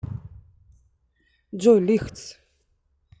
джой лайтс